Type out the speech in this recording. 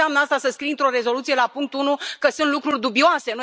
Ce înseamnă asta, să scrii într o rezoluție, la punctul 1, că sunt lucruri dubioase?